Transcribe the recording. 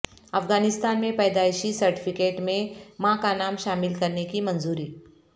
افغانستان میں پیدائشی سرٹیفیکٹ میں ماں کا نام شامل کرنے کی منظوری